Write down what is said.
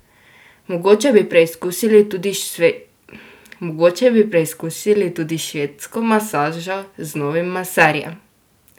Mogoče bi preizkusil tudi švedsko masažo z novim maserjem.